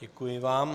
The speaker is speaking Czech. Děkuji vám.